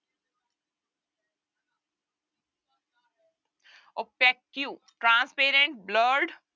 Opaque, transparent, blurred